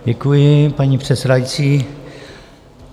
Děkuji, paní předsedající.